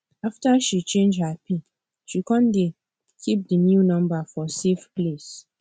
after she change her pin she come dey keep the new number for safe place